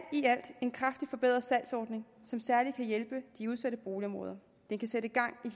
en kraftigt forbedret salgsordning som særlig kan hjælpe de udsatte boligområder den kan sætte gang